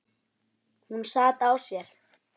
Hún sat á sér.